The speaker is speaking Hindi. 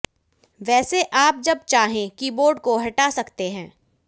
वैसे आप जब चाहें कीबोर्ड को हटा सकते हैं